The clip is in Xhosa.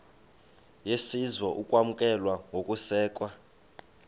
yesizwe ukwamkelwa nokusekwa